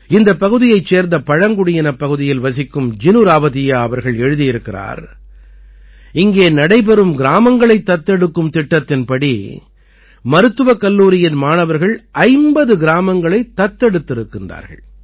இந்தப் பகுதியைச் சேர்ந்த பழங்குடியினப் பகுதியில் வசிக்கும் ஜினு ராவதீயா அவர்கள் எழுதியிருக்கிறார் இங்கே நடைபெறும் கிராமங்களைத் தத்து எடுக்கும் திட்டத்தின்படி மருத்துவக் கல்லூரியின் மாணவர்கள் 50 கிராமங்களைத் தத்தெடுத்திருக்கின்றார்கள்